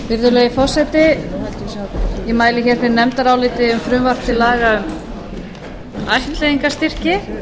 virðulegi forseti ég mæli hér fyrir nefndaráliti um frumvarp til laga um ættleiðingarstyrki